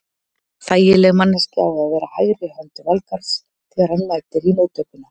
Þægileg manneskja á að vera hægri hönd Valgarðs þegar hann mætir í móttökuna.